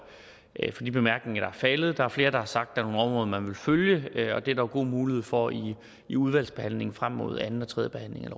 faldet der er flere der har sagt at områder man vil følge og det er der jo god mulighed for i i udvalgsbehandlingen frem mod anden og tredje behandling